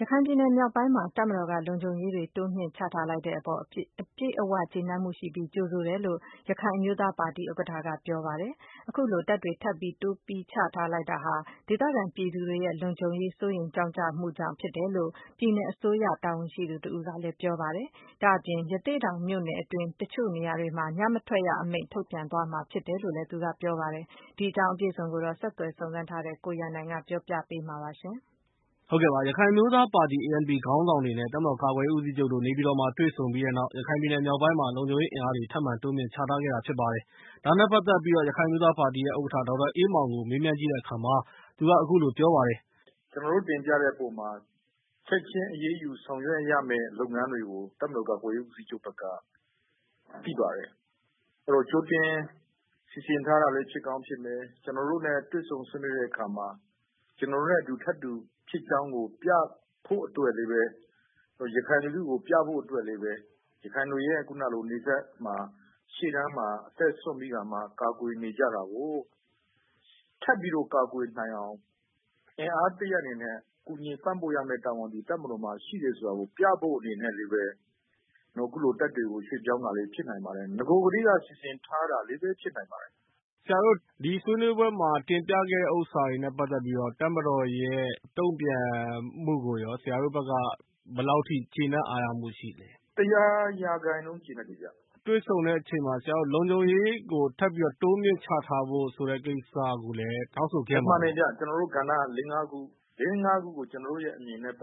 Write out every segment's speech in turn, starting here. ရခိုင်ပြည်နယ်မြောက်ပိုင်းမှာ တပ်မတော်က လုံခြုံရေးတွေ တိုးမြှင့်ချထားလိုက်တဲ့အပေါ် အပြည့်အဝကျေနပ်မှုရှိပြီး ကြိုဆိုတယ်လို့ ရခိုင်အမျိုးသားပါတီဥက္ကဋ္ဌက ပြောကြား လိုက်ပါတယ်။ အခုလို တပ်တွေထပ်တိုးပြိးချထားလိုက်တာဟာ ဒေသခံပြည်သူတွေရဲ့ လုံခြုံရေးစိုးရိမ်ကြောင့်ကြမှုကြောင့်ဖြစ်တယ်လို့ ပြည်နယ်အစိုးရ တာဝန်ရှိသူတဦးကလည်း ပြောပါတယ်။ ဒါ့အပြင် ရသေ့တောင်မြို့နယ်အတွင်း တချို့နေရာတွေမှာ ညမထွက်ရ အမိန့်ထုတ်ပြန်သွားမှာဖြစ်တယ်လို့ သူကပြောပါတယ်။ ဒီအကြောင်း အပြည့်အစုံကို ဆက်သွယ်စုံစမ်းထားတဲ့ ကိုရန်နိုင်က ပြောပြပေးမှာဖြစ်ပါတယ်။ ရခိုင်အမျိုးသားပါတီ ခေါင်းဆောင်တွေ နဲ့ တပ်မတော်ကာကွယ်ရေးဦးစီးချုပ်တို့ နေပြည်တော်မှာ တွေ့ဆုံဆွေးနွေးခဲ့ပြီးနောက် ရခိုင်ပြည်နယ်မြောက်ပိုင်းမှာ လုံခြုံရေးအင်အားတွေ ထပ်မံတိုးမြှင့်ချထားခဲ့တာဖြစ်ပါတယ်။ ဒါနဲ့ ပတ်သက်ပြီး ရခိုင်အမျိုးသားပါတီရဲ့ ဥက္ကဋ္ဌ ဒေါက်တာအေးမောင်ကို မေးမြန်းကြည့်တဲ့အခါ သူက အခုလို ပြောပါတယ်။ ကျနော်တို့တင်ပြတဲ့အခါမှာ ချက်ခြင်းအရေးယူဆောင်ရွက်ရမယ့် လုပ်ငန်းတွေကို တပ်မတော်ကာကွယ်ရေးဦးစီးချုပ်ဘက်က သိပါတယ် ကြိုတင်စီစဉ် ထားတာလည်းဖြစ်ကောင်းဖြစ်မယ်။ ကျနော်တို့နဲ့တွေ့ဆုံဆွေးနွေးတဲ့အခါမှာ ကျနော်တို့နဲ့ထပ်တူ ပြဖို့အတွက်လည်း ရခိုင်လူထုကိုပြဖို့အတွက်လည်းပဲ ရခိုင်တွေရဲ့ နယ်စပ်မှာ ရှေ့တန်းမှာ အသက်စွန့်ပြီးတော့မှ ကာကွယ်နေကြတာကို ထပ်ပြီးတော့ ကာကွယ်နိုင်အောင် အင်အားတရပ်နဲ့ ကူညီပံ့ပိုးရမယ့်တာဝန်သည် တပ်မတော်မှာ ပြဖို့ အနေနဲ့လည်းပဲ အခုလိုတပ်တွေကို ရွှေ့ပြောင်းတာလည်း ဖြစ်နိုင်ပါတယ်။ နဂိုကတည်းက စီစဉ်ထားတာလည်းပဲ ဖြစ်နိုင်ပါတယ်။ ဆရာတို့ ဒီဆွေးနွေးပွဲမှာ တင်ပြခဲ့တဲ့ဥစ္စာက တပ်မတော်ရဲ့တုန့်ပြန်မှုကိုရော ဆရာတို့ဘက်က ဘယ်လောက်အထိ ကျေနပ်အားရမှုရှိလဲ။ ၁၀၀% ကျေနပ်တယ်ခင်ဗျ။ တွေ့ဆုံတဲ့အချိန်မှာ လုံခြုံရေးကို တိုးမြှင့်ချထားဖို့ဆိုတဲ့ ကိစ္စကိုလည်း တောင်းဆိုခဲ့မှာပေါ့။ မှန်တယ်ခင်ဗျ။ သူတို့ကဏ္ဍလေးငါးခု ဒီလေးငါးခုနဲ့ပတ်သက်ပြီး ကျနော်တို့ရဲ့အမြင်ကိုလည်း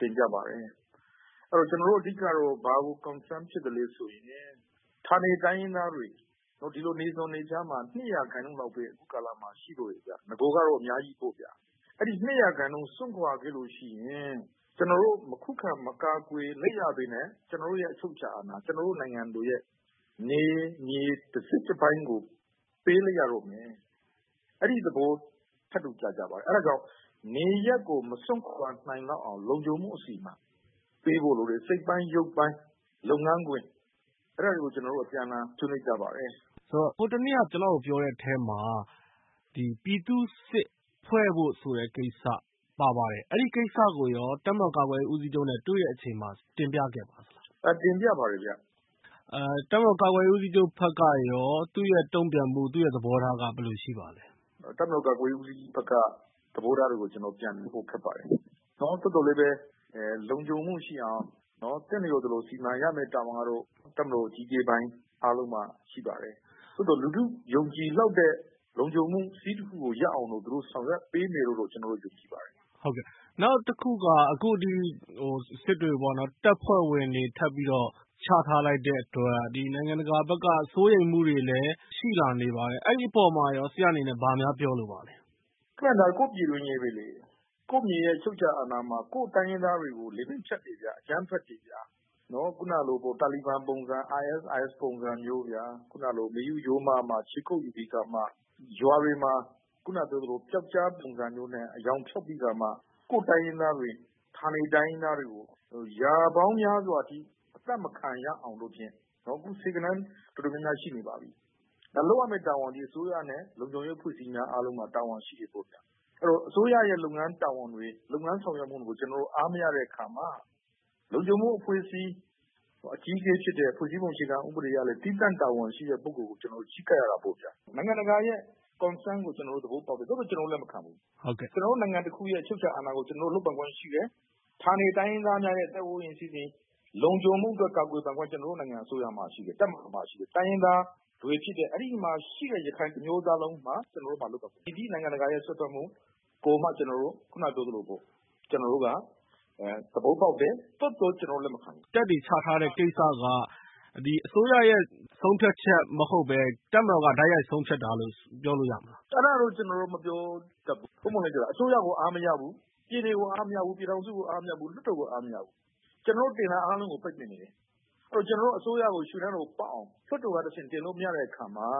တင်ပြပါတယ်။ အဲ့တော့ ကျနော်တို့က အဓိကက ဘာကို စိုးရိမ်သလဲဆိုရင် ကျနော်တို့ ဌာနေတိုင်းရင်းသားတွေ နယ်စပ်မှာ ၂%လောက်ပဲ ရှိတော့တယ်ခင်ဗျ နဂိုကတော့ အများကြီးပေါ့ဗျာ။ အဲ့သလို စွန့်ခွာသွားကြတယ်ဆိုရင် ကျနော်တို့ မခုခံ မကာကွယ်လိုက်ရပဲနဲ့ ကျနော်တို့ရဲ့ အချုပ်အခြာ အာဏာ ကျနော်တို့နိုင်ငံရဲ့ နယ်မြေတစိတ်တပိုင်းကို ပေးလိုက်ရတော့မယ် အဲ့ဒီ့သဘော ထပ်တူကျပါတယ် အဲ့တာကြောင့် နေရပ်ကို မစွန့်ခွာရအောင် လုံခြုံမှုအစီအမံ ပေးဖို့လိုတယ်။ စိတ်ပိုင်းရုပ်ပိုင်း လုပ်ငန်းခွင် အဲ့တာတွေကို ကျနော်တို့ အပြန်အလှန်ဆွေးနွေးကြပါတယ်။ ဟိုတနေ့က ပြောတဲ့အထဲမှာ ပြည်သူ့စစ်ဖွဲ့ဖို့ဆိုတဲ့ကိစ္စ ပါပါတယ်။ အဲ့ဒီ့ကိစ္စကိုရော တပ်မတော်ကာကွယ်ရေးဦးစီးချုပ်နဲ့တွေ့တဲ့အချိန်မှာ တင်ပြခဲ့ပါသလား။ တင်ပြပါတယ်ခင်ဗျ။ တပ်မတော်ကာကွယ်ရေးဦးစီးချုပ်ဘက်က တုန့်ပြန်မှု သူ့သဘောထား ဘယ်လိုရှိပါသလဲ။ တပ်မတော်ကာကွယ်ရေးဦးစီးချုပ်ဘက်က သဘောထားပြန်ပြောဖို့တော့ ခက်ပါတယ် သို့သော်လည်းပဲ လုံခြုံမှုရှိအောင် သင့်တော်သလို စီမံရမယ့်တာဝန်ကတော့ တပ်မတော်အကြီးအကဲအားလုံးမှာ ရှိပါတယ်။ သို့သော် လူထုယုံကြည်မှုရလောက်တဲ့ လုံခြုံမှု စည်းတခုရအောင်တော့ သူတို့ဆောင်ရွက်ပေးမယ်လို့တော့ ကျနော်တို့ ယုံကြည်ပါတယ်။ နောက်တခုက စစ်တပ်ဘက်က တပ်ဖွဲ့ဝင်တွေ ချထားလိုက်တဲ့အတွက် နိုင်ငံတကာဘက်က စိုးရိမ်မှုတွေရှိလာနေပါတယ် အဲ့ဒီ့အပေါ်မှာရော ဆရာအနေနဲ့ ဘာများပြောလိုပါသလဲ။ ဒါ ကိုယ့်ပြည်တွင်းရေးပဲလေ ကိုယ့်မြေရဲ့ အချုပ်အခြာ အာဏာမှာ ကိုယ့်တိုင်းရင်းသားတွေကို လည်ပင်းဖြတ်တယ် အကြမ်းဖက်တယ်ဗျာ ခုနကလို တာလီဘန်ပုံစံ ISRS လိုပုံစံ မေယုရိုးမမှာ ခြေကုပ်ယူပြီးကာမှ ရွာတွေမှာ ပျောက်ကြားပုံစံမျိုးနဲ့ ကိုယ့်တိုင်းရင်းသားတွေ ဌာနတိုင်းရင်းသားတွေကို ရာပေါင်းများစွာအထိ အသတ်မခံရအောင်ဖြင့် အစိုးရနဲ့ လုံခြုံရေးအဖွဲ့အစည်းများ အားလုံးမှာ တာဝန်ရှိတယ်။ အဲ့တော့ အစိုးရရဲ့ လုပ်ငန်းတာဝန်တွေ လုပ်ငန်းဆောင်ရွက်ချက်တွေကို အားမရတဲ့အခါမှာ လုံခြုံမှုအဖွဲ့အစည်း အကြီးအကဲဖြစ်တဲ့ အဖွဲ့အစည်း ဖွဲ့စည်းပုံအခြေခံဥပဒေအရလည်း သီးသန့်တာဝန်ရှိတဲ့ ပုဂ္ဂိုလ် ကိုချဉ်းကပ်ရတာပေါ့ဗျာ နိုင်ငံတကာရဲ့ Concern ကို သဘောပေါက်တယ် သို့သော် ကျနော်တို့ လက်မခံဘူး။ကျနော်တို့နိုင်ငံရဲ့ အချုပ်အခြာအာဏာကို လုပ်ပိုင်ခွင့်ရှိတယ်။ ဌာနတိုင်းရင်းသားများရဲ့ လုံခြုံမှုအတွက် ကာကွယ်ပိုင်ခွင့် ကျနော်တို့ အစိုးရမှာ ရှိတယ် တပ်မတော်မှာရှိတယ်။ တိုင်းရင်းသားတွေဖြစ်တဲ့ အဲ့ဒီ့မှာရှိတဲ့ ရခိုင်တမျိုးသားလုံးမှာ ရှိတယ်။ မည်သည့်နိုင်ငံတကာစွက်ဖက်မှုကိုမှ ကျနော်တို့က သဘောပေါက်တယ် သို့သော် ကျနော်တို့ လက်မခံဘူး။ တပ်တွေချထားတဲ့ကိစ္စက အစိုးရက ဆုံးဖြတ်တာမဟုတ်ပဲ တပ်က တိုက်ရိုက်ဆုံးဖြတ်တာလို့ ပြောလို့ရမလား။ အဲ့တာတော့ ကျနော်တို့မပြောတတ်ဘူး ပွင့်ပွင့်လင်းလင်းပြောတာ။ အစိုးရကို အားမရဘူး ပြည်နယ်ကအားမရဘူး ပြည်ထောင်စုကို အားမရဘူး။ လွှတ်တော်ကို အားမခရဘူး ကျနော်တို့ တင်တာအားလုံးကို ပိတ်ပင်နေတယ်။ အဲ့တော့ ကျနော်တို့ အစိုးရကို ရွှေနားတော်ပေါက်အောင် လွှတ်တော်က တင်လို့မရတဲ့အခါမှာ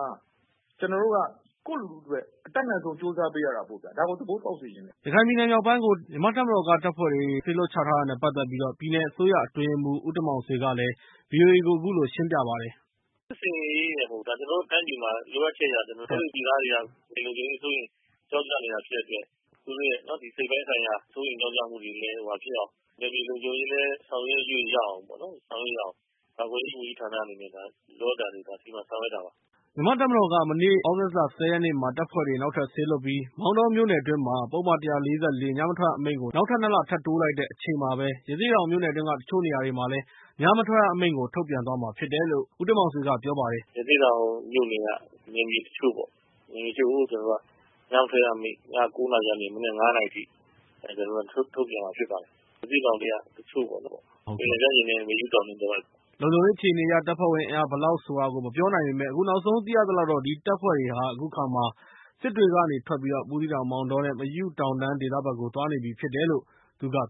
ကျနော်တို့က ကိုယ့်လူထုအတွက် အတတ်နိုင်ဆုံးကြိုးစားပေးရတာပေါ့ဗျာ ဒါကို သဘောပေါက်စေချင်တယ်။ ရခိုင်ပြည်နယ်မြောက်ပိုင်းကို မြန်မာ့တပ်မတော်က တပ်ဖွဲ့တွေ စေလွှတ်ချထားတဲ့ ပတ်သက်ပြီး ရခိုင်ပြည်နယ်အစိုးရအတွင်းရေးမှူး ဦးတင်မောင်ဆွေက ဗွီအိုအေကို အခုလို ရှင်းပြပါတယ်။ စစ်ဆင်ရေးရယ်မဟုတ်ဘူး ကျနော်တို့တိုင်းပြည်မှာ လိုအပ်ချက်အရ ကျနော်တို့ တိုင်းသူပြည်သားတွေဟာ လုံခြုံရေးစိုးရိမ်ကြောင့်ကြနေတာဖြစ်တဲ့အတွက် သူတို့ရဲ့ စိတ်ပိုင်းဆိုင်ရာ စိုးရိမ်ကြောင့်ကြမှုတွေလည်း မဖြစ်အောင် နယ်မြေလုံခြုံရေးလည်း ဆောင်ရွက်လို့ရအောင်ပေါ့လေ ကာကွယ်ရေးဝန်ကြီးဌာနအနေနဲ့ လိုအပ်တာတွေကို စီမံဆောင်ရွက်တာပါ။ မြန်မာတပ်မတော်က မနေ့ သြဂုတ်လ ၁၀ ရက်နေ့မှာ တပ်ဖွဲ့တွေ နောက်ထပ်လွှတ်ပြီး၊ မောင်တောမြို့နယ်တွင်းမှာ ပုဒ်မ ၁၄၄ ညမထွက်ရအမိန့်ကို နောက်ထပ် ၂ လ ထပ်တိုးလိုက်တဲ့ တချိန်တည်းမှာပဲ၊ ရသေ့တောင်မြို့နယ်တွင်းက တချို့နေရာတွေမှာလည်း ညမထွက်ရ အမိန့်ထုတ်ပြန်သွားမှာဖြစ်တယ်လို့ ဦးတင်မောင်ဆွေက ပြောပါတယ်။ ရသေ့တောင်မြို့နယ်က နယ်မြေတချို့ပေါ့။ ညမထွက်ရအမိန့် ညကိုးနာရီကနေ မနက်ငါးနာရီအထိ ထုတ်ပြန်မှာဖြစ်ပါတယ်။ ရသေ့တောင်ထဲက တချို့ပေါ့ မေယုတောင်ခြေတဝိုက်ပေါ့။ လုံခြုံရေးအခြေအနေ အရ တပ်ဖွဲ့ဝင်အင်အားဘယ်လောက်ဆိုတာကိုတော့ မပြောနိုင်ပေမယ့်၊ အခုနောက်ဆုံးသိရသလောက်တော့ အဲဒီတပ်တွေဟာ အခုအခါမှာ စစ်တွေကနေထွက်ပြီး ဘူးသီးတောင်၊ မောင်တော နဲ့ မယုတောင်တန်းဒေသဘက်ကို သွားနေပြီဖြစ်တယ်လို့ ပြောပါတယ်